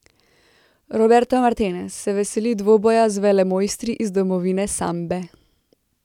Roberto Martinez se veseli dvoboja z velemojstri iz domovine sambe.